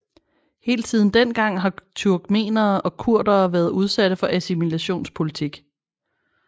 Helt siden den gang har både turkmenere og kurderne været udsatte for assimilationspolitik